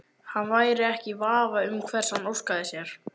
Hann væri ekki í vafa um hvers hann óskaði sér.